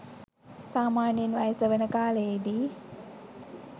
සාමාන්‍යයෙන් වයස වන කාලයේදී